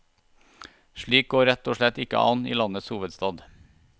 Slikt går rett og slett ikke an i landets hovedstad.